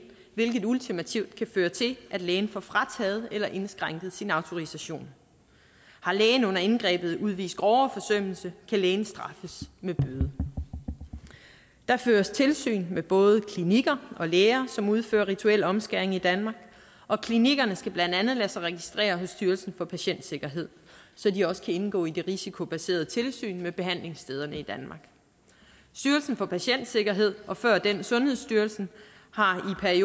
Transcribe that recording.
hvilket ultimativt kan føre til at lægen får frataget eller indskrænket sin autorisation har lægen under indgrebet udvist grovere forsømmelse kan lægen straffes med bøde der føres tilsyn med både klinikker og læger som udfører rituel omskæring i danmark og klinikkerne skal blandt andet lade sig registrere hos styrelsen for patientsikkerhed så de også kan indgå i det risikobaserede tilsyn med behandlingsstederne i danmark styrelsen for patientsikkerhed og før den sundhedsstyrelsen har i